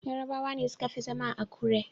Yarabawa ne suka fi zama a Akure.